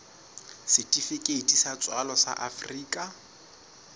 setifikeiti sa tswalo sa afrika